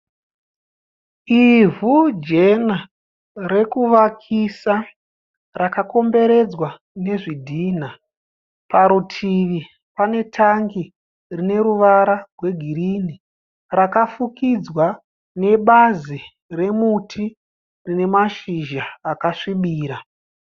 Ivhu jena rekuvakisa rakakomberedzwa nezvidhina. Parutivi pane tangi rine ruvara rwegirini rakafukidzwa nebazi remuti rine mashizha akasvibira.